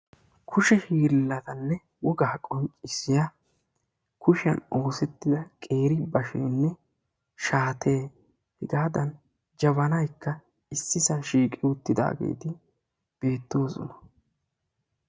kushe hiillane wogaa qoncisiya kushiyani oosettida qeeri bashene hegadanikka jabanayi issipe beettoosona.